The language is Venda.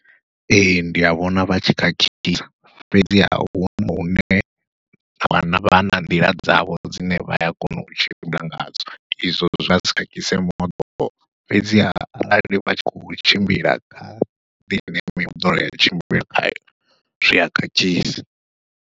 Ee ndi a vhona vhatshi khakhisa fhedziha huna hune vha vha na nḓila dzavho dzine vha ya kona u tshimbila ngadzo izwo zwa si khakhise moḓoro, fhedziha arali vha tshi kho tshimbila kha mimoḓoro ya tshimbila khayo zwia khakhisi.